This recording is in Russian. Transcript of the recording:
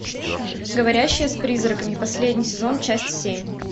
говорящая с призраками последний сезон часть семь